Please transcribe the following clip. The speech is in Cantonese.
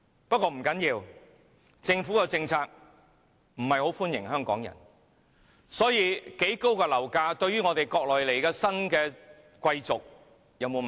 不過不要緊，政府的政策不是要歡迎香港人，所以無論樓價有多高，對於來自國內的新貴族也不成問題。